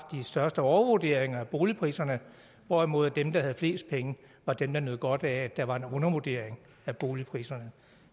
største overvurderinger af boligpriserne hvorimod dem der havde flest penge var dem der nød godt af at der var en undervurdering af boligpriserne